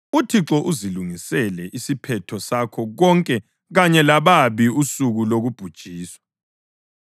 UThixo uzilungisele isiphetho sakho konke kanye lababi usuku lokubhujiswa.